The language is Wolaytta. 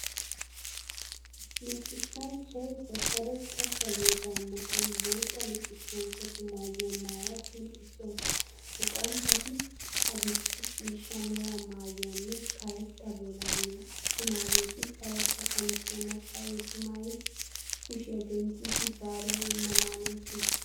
Luxissanchchiyabkaretta saleedaa matan bootta luxissanchchatu maayuwa maayada luxissawuus. Luxanchchati adil"e ciishsha mera maayuwanne karetta bolaaliya attumaageeti karetta qamisiya maccaageeti maayidi kushiya denttidi zaaruwa immana hanoosona.